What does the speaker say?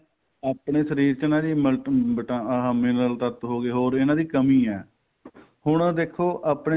ਆਪਣੇ ਸ਼ਰੀਰ ਚ ਨਾ ਜੀ ਮਨ ਤੂੰ but ਆਹ mineral ਤੱਤ ਹੋ ਗਏ ਹੋਰ ਇੰਨਾ ਦੀ ਕੰਮੀ ਏ ਹੁਣ ਦੇਖੋ ਆਪਣੇ